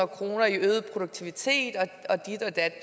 kroner i øget produktivitet og dit og dat